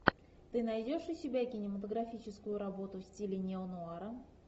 ты найдешь у себя кинематографическую работу в стиле неонуара